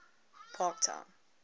parktown